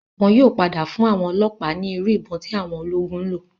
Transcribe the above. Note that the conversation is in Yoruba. Wọn yóò padà fún àwọn ọlọ́ọ̀pá ní Irú ìbọn tí àwọn ológun ńlò.